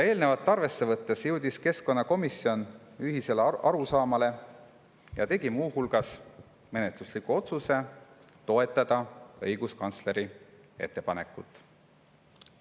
Eelnevat arvesse võttes jõudis keskkonnakomisjon ühisele arusaamale ja tegi muu hulgas menetlusliku otsuse toetada õiguskantsleri ettepanekut.